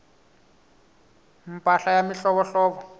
mpahla ya mihlovohlovo